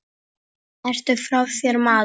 Ertu frá þér, maður?